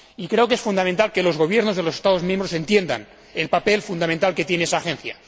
Creo que es fundamental que los Gobiernos de los Estados miembros entiendan el papel fundamental que tiene esa agencia.